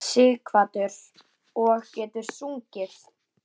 Sighvatur: Og getur sungið?